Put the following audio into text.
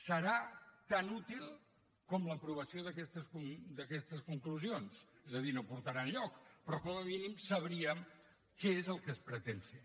serà tan útil com l’aprovació d’aquestes conclusions és a dir no portarà enlloc però com a mínim sabríem què és el que es pretén fer